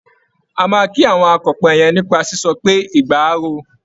A máa kí àwọn akọ̀pẹ yẹn nípa sísọ pé "igba á ro o".